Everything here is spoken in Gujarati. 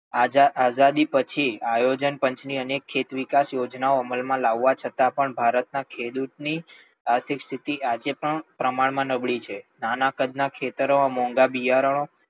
આઝાદી પછી આયોજન પંચ ની અનેક ખેતવિકાસ ની યોજનાઓ અમલ માં લાવવા છતાં પણ ભારત ના ખેડૂત ની આર્થિક સ્થિતિ આજે પણ પ્રમાણ માં નબળી છે. નાના કદ ના ખેતરો મોંઘા બિયારણો,